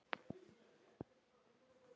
Liðið skipa þeir